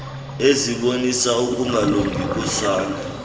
ezibonisa ukungalungi kosana